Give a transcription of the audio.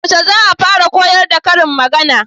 Yaushe za'a fara koyar da karin magana?